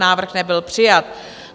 Návrh nebyl přijat.